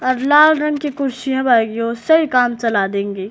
और लाल रंग की कुर्सियां गईं हैं उससे काम चला देंगे।